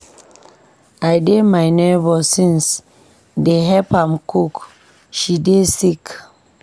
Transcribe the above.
I dey my nebor house since dey help am cook, she dey sick.